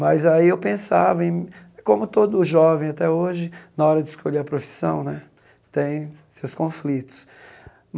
Mas aí eu pensava em... Como todo jovem até hoje, na hora de escolher a profissão né, tem seus conflitos.